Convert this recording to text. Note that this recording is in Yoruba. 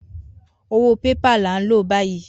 Owó bébà là ń lò báyìí.